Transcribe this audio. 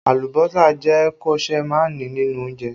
Alùbọ́sà jẹ́ koseemani nínú oúnjẹ